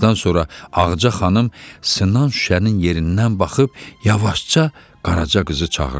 Bir azdan sonra Ağca xanım sınan şüşənin yerindən baxıb yavaşca Qaraca qızı çağırdı.